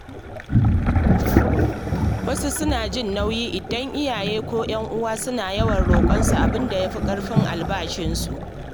Wasu suna jin nauyi idan iyaye ko ‘yan uwa suna yawan roƙonsu abin da ya fi ƙarfin albashinsu.